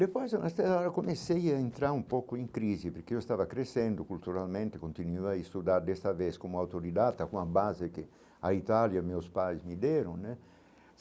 Depois eu eu comecei a entrar um pouco em crise, porque eu estava crescendo culturalmente, continuo a estudar desta vez como autodidata, com a base que a Itália e meus pais me deram né.